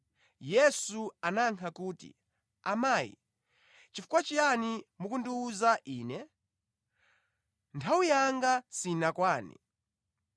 Yesu anayankha kuti, “Amayi, chifukwa chiyani mukundiwuza Ine? Nthawi yanga sinakwane.”